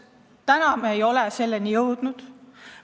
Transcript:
Täna me ei ole selleni jõudnud.